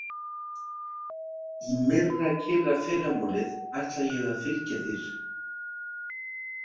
Í myrrakyrrafyrramálið ætla ég að fylgja þér.